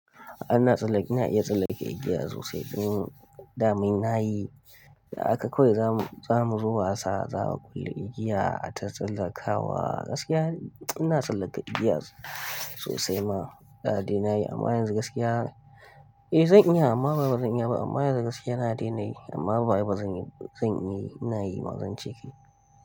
Ana tsallake, ina iya tsallake igiya sosai. In damin na yi, a haka kawai zamu, zamu zo wasa za a kulle igiya a ta tsallakawa gaskiya ina tsallaka igiya sosai ma, da dai na yi amma yanzu gaskiya eh zan iya amma ba bazan iya ba amma yanzu gaskiya na daina yi amma ba wai ba zan yi, zan yi ina yi ma zan ce ke.